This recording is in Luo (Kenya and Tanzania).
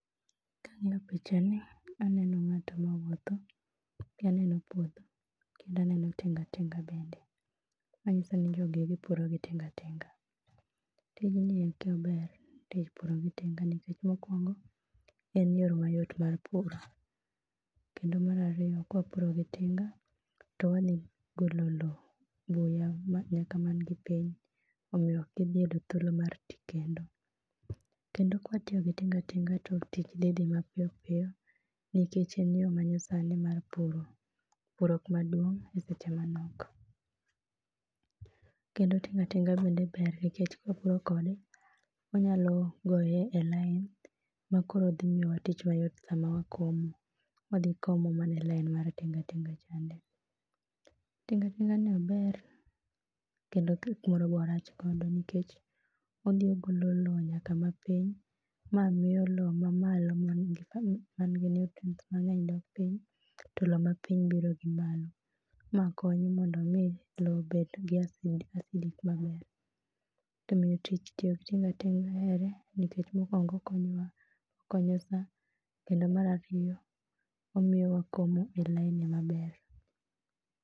Ka aneni pichani aneno ng'at ma wuotho aneno puodho kendo ane no tinga tinga bende manyiso ni jogi puro gi tinga tinga. Tijni en tich maber, tich puro gi tinga nikech en yo mayot mar puro. Kendo mar ariyo ka wapuro gi tinga to wadhi golo lowo, buya nyaka man gi piny omiyo ok gidhi yudo thuolo mar ti kendo. Kendo ka watiyo gi tinga tinga to dhi dhi mapiyo nikech en yo pur manyasani mar puro kuma duong' e seche manok. Kendo tinga tinga bende ber nikech opuro kode onyalo goye e lain makoro dhi miyowa tich mayot sama wakomo. Wadhi komo mana e lain mar tinga tinga. Tinga tinga no ober kendo samoro be orach mondo nikech odhi ogolo lowo nyaka mapiny, ma miyo lowo mamalo man gi nutrients mang'eny dok piny, to lowo mapiny biro gi malo. Ma konyo mondo mi lowo obed gi aflic maber. Omiyo tich tiyo gi tinga tinga ahere ni mokuongo okonyo wa, okonyo saa kendo mar ariyo, omiyo wakomo e laini maber.